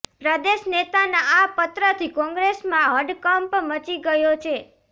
પ્રદેશ નેતાના આ પત્રથી કોંગ્રેસમાં હડકંપ મચી ગયો છે